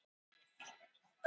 Horfði á hana sigri hrósandi.